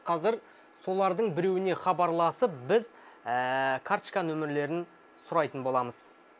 қазір солардың біреуіне хабарласып біз карточка нөмірлерін сұрайтын боламыз